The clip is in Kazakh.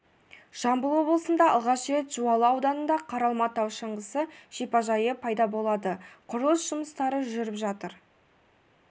жамбыл облысында алғаш рет жуалы ауданында қаралма тау шаңғысы шипажайы пайда болады құрылыс жұмыстары жүріп жатыр